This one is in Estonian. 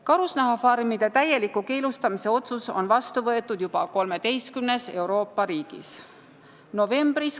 Karusnahafarmide täieliku keelustamise otsus on vastu võetud juba 13 Euroopa riigis.